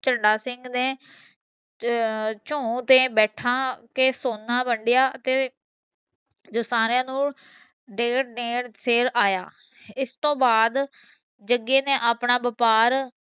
ਝੰਡਾ ਸਿੰਘ ਨੇ ਅਹ ਚੋਂ ਤੇ ਬੈਠਾ ਕੇ ਸੋਨਾ ਵੰਡੀਆਂ ਤੇ ਜੋ ਸਾਰੀਆਂ ਨੂੰ ਡੇਢ ਡੇਢ ਸੇਰ ਆਇਆ ਇਸ ਤੋਂ ਬਾਅਦ ਜਗੇ ਨੇ ਆਪਣਾ व्यापार